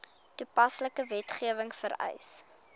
toepaslike wetgewing vereis